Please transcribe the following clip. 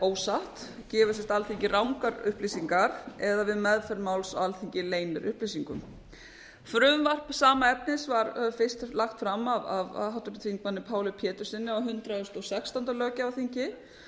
ósatt gefi alþingi rangar upplýsingar eða við meðferð máls á alþingi leyni upplýsingum frumvarp sama efnis var lagt fram af háttvirtum þingmanni páli péturssyni á hundrað og sextándu löggjafarþingi